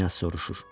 Knyaz soruşur.